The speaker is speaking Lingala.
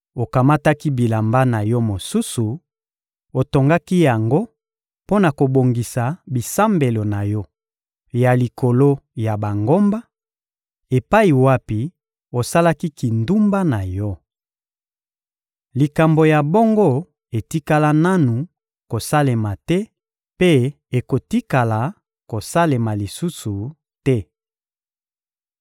Okamataki bilamba na yo mosusu, otongaki yango mpo na kobongisa bisambelo na yo ya likolo ya bangomba, epai wapi osalaki kindumba na yo. Likambo ya bongo etikala nanu kosalema te mpe ekotikala kosalema lisusu te!